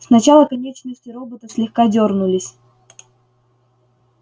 сначала конечности робота слегка дёрнулись